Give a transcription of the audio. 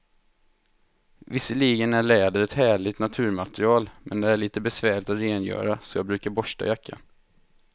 Visserligen är läder ett härligt naturmaterial, men det är lite besvärligt att rengöra, så jag brukar borsta jackan.